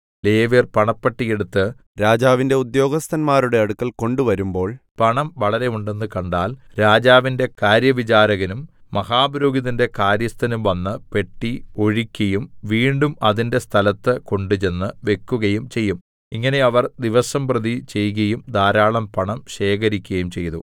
ലേവ്യർ പണപ്പെട്ടി എടുത്ത് രാജാവിന്റെ ഉദ്യോഗസ്ഥന്മാരുടെ അടുക്കൽ കൊണ്ടുവരുമ്പോൾ പണം വളരെ ഉണ്ടെന്ന് കണ്ടാൽ രാജാവിന്റെ കാര്യവിചാരകനും മഹാപുരോഹിതന്റെ കാര്യസ്ഥനും വന്ന് പെട്ടി ഒഴിക്കയും വീണ്ടും അതിന്റെ സ്ഥലത്ത് കൊണ്ടുചെന്ന് വെക്കുകയും ചെയ്യും ഇങ്ങനെ അവർ ദിവസംപ്രതി ചെയ്കയും ധാരാളം പണം ശേഖരിക്കയും ചെയ്തു